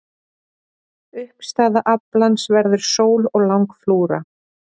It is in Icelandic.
Uppstaða aflans verður Sól og Langflúra